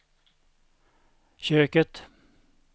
köket